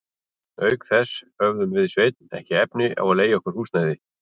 Auk þess höfðum við Sveinn ekki efni á að leigja okkur húsnæði.